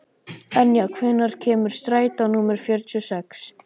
Enja, hvenær kemur strætó númer fjörutíu og sex?